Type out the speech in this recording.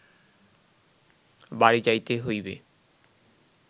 বাড়ি যাইতে হইবে